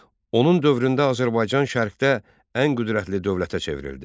Onun dövründə Azərbaycan Şərqdə ən qüdrətli dövlətə çevrildi.